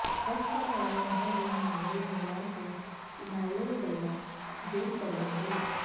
SYL ਨਹਿਰ ਦੇ ਮਾਮਲੇ ਨੂੰ ਲੈ ਕੇ ਇਨੈਲੋ ਵੱਲੋਂ ਜੇਲ੍ਹ ਭਰੋ ਅੰਦੋਲਨ